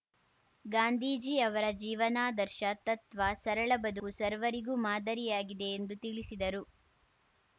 ಗಾಂಧೀಜಿ ಅವರ ಜೀವನಾದರ್ಶ ತತ್ವ ಸರಳ ಬದುಕು ಸರ್ವರಿಗೂ ಮಾದರಿಯಾಗಿದೆ ಎಂದು ತಿಳಿಸಿದರು